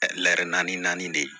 naani naani de ye